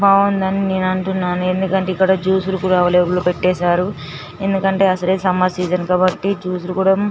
బావుందని నేను అంటున్నాను ఎందుకంటే ఇక్కడ జ్యూసు లు కూడా పెట్టేశారు ఎందుకంటే అసలే సమ్మర్ సీజను కాబట్టి జూసు లు కూడ --